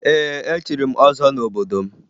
Ee, echiri m ọzọ n'obodo m